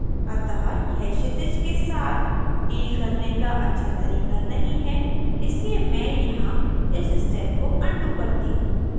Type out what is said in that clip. अतः यह क्षितिज के साथ deal करने के अच्छा तरीका नहीं है इसलिए मैं यहाँ इस step को अनडू करती हूँ